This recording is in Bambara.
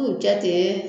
K'u jate